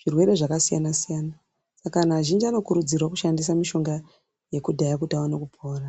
zvirwere zvakasiyana-siyana. Saka anhtu azhinji anokurudzirwa kushandisa mishonga yekudhaya kuti aone kupora.